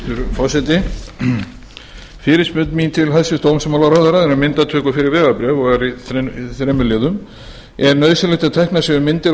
forseti fyrirspurn mín til hæstvirts dómsmálaráðherra er um myndatöku fyrir vegabréf og er í þremur liðum fyrstu er nauðsynlegt að teknar séu myndir